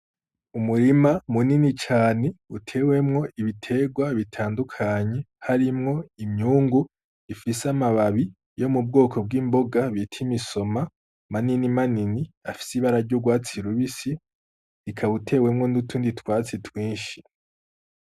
Umurima munini cane utewemwo ibitegwa bitandukanye harimwo imyungu ifise amababi yo mu bwoko bw'imboga bita imisoma manini manini afise ibara ry'urwatsi rubisi ikaba itewemwo n'utundi twatsi twinshi.